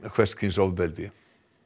hvers kyns ofbeldi